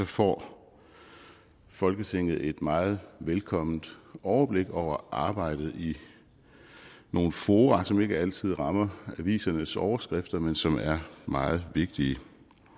får folketinget et meget velkomment overblik over arbejdet i nogle fora som ikke altid rammer avisernes overskrifter men som er meget vigtige